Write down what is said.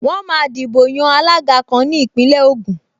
Wọ́n máa dìbò yan alága kan ní Ìpínlẹ̀ Ògùn